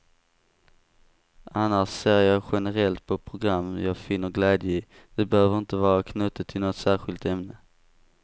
Annars ser jag generellt på program jag finner glädje i, det behöver inte vara knutet till något särskilt ämne.